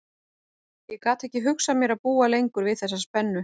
Ég gat ekki hugsað mér að búa lengur við þessa spennu.